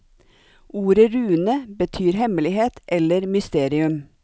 Ordet rune betyr hemmelighet eller mysterium.